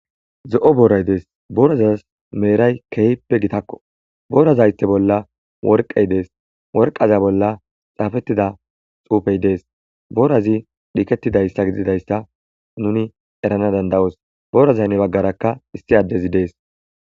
Zo7o booray dees borazas meeray keehippe gitakko borazaythe bolla worqey dees worqaza bolla xaafettida xuufey dees boorazi dhiketidayssa gididayssa nuni erana danda'oos boorazaynne baggarakka issi addezi dees.